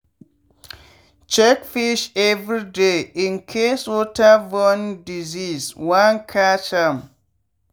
check fish every day incase waterborne disease wan catch am.